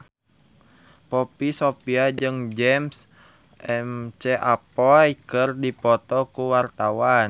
Poppy Sovia jeung James McAvoy keur dipoto ku wartawan